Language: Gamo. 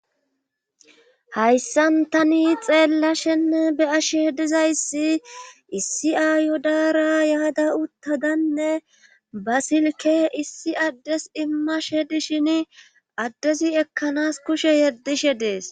hayssan tani xeellashenne beyasheh dizayssi issi ayo daara yaada uttadanne ba silke issi addes immashe dishin addezi ekkanas kushe yeddishe dees